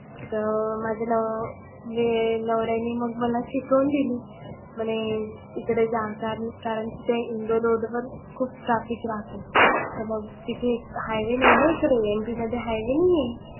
तर माझ्या नवने नवऱ्यानी मग मला शिकवून दिली. म्हणे इकडे जाताना कारण की इंदैर road वर खुप traffic राहतो. तर मग तिथे highway नाही ना इकडे MP मध्ये highway नाहीए.